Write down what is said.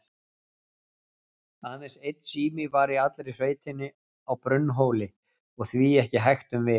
Aðeins einn sími var í allri sveitinni, á Brunnhóli, og því ekki hægt um vik.